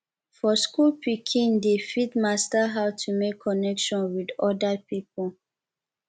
for school pikin dey fit master how to make connection with oda people